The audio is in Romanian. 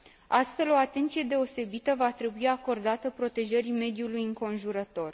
Astfel, o atenție deosebită va trebui acordată protejării mediului înconjurător.